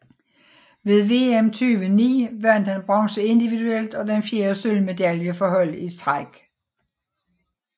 Ved VM 2009 vandt han bronze individuelt og den fjerde sølvmedalje for hold i træk